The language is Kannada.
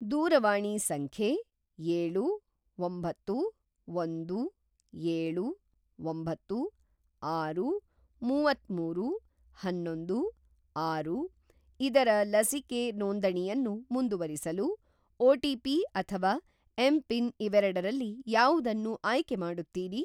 ದೂರವಾಣಿ ಸಂಖ್ಯೆ ಏಳು, ಒಂಬತ್ತು, ಒಂದು, ಏಳು, ಒಂಬತ್ತು, ಆರು, ಮುವತ್ತಮೂರು, ಹನ್ನೊಂದು, ಆರು ಇದರ ಲಸಿಕೆ ನೋಂದಣಿಯನ್ನು ಮುಂದುವರಿಸಲು ಒ.ಟಿ.ಪಿ. ಅಥವಾ ಎಂಪಿನ್ ಇವೆರಡರಲ್ಲಿ ಯಾವುದನ್ನು ಆಯ್ಕೆ ಮಾಡುತ್ತೀರಿ?